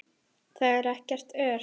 Þar er ekkert ör.